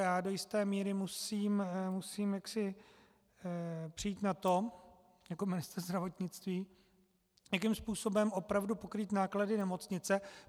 Já do jisté míry musím přijít na to jako ministr zdravotnictví, jakým způsobem opravdu pokrýt náklady nemocnice.